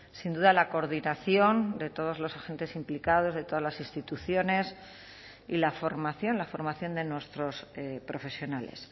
sin duda la coordinación de todos los agentes implicados de todas las instituciones y la formación la formación de nuestros profesionales